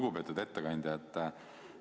Lugupeetud ettekandja!